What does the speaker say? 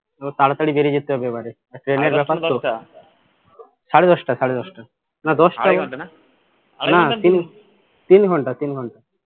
তো তাড়াতড়ি বেরিয়ে যেতে হবে এবারে সাড়ে দশটা সাড়ে দশটা না দশটা না তিন তিন ঘন্টা তিন ঘন্টা